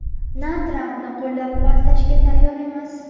na Trampni qo‘llab-quvvatlashga tayyor emas.